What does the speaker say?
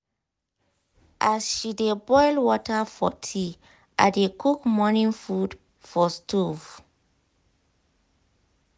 as she dey boil water for tea i dey cook morning food for stove.